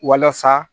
Walasa